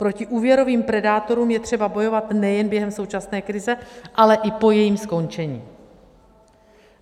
Proti úvěrovým predátorům je třeba bojovat nejen během současné krize, ale i po jejím skončení.